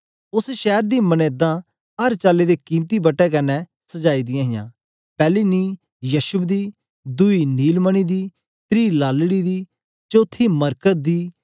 उस्स शैर दी मनेदां अर चाली दे कीमती बट्टे कन्ने सजाई दियां हियां पैली नींह् यशब दी दुई नीलमणि दी त्री लालड़ी दी चौथी मरकत दी